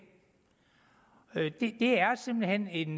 det er simpelt hen en